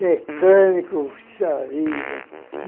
Mecânico, xarida.